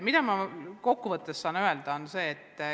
Mida ma kokku võttes saan öelda?